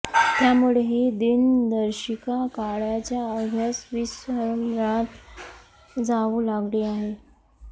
त्यामुळे ही दिनदर्शिका काळाच्या ओघात विस्मरणात जाऊ लागली आहे